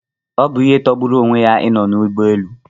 Ọ bụ ihe tọgburu onwe ya ị nọ n'ụgbọ elu